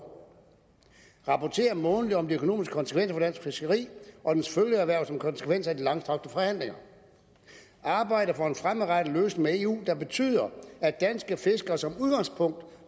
rapportere månedligt om de økonomiske konsekvenser for dansk fiskeri og dets følgeerhverv som konsekvens af de langtrukne forhandlinger og arbejde for en fremadrettet løsning med eu der betyder at danske fiskere som udgangspunkt